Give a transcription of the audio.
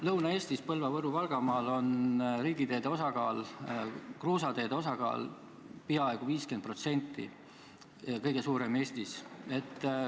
Lõuna-Eestis, Põlva-, Võru- ja Valgamaal on riigiteede osakaal kruusateede osakaal peaaegu 50% – kõige suurem Eestis.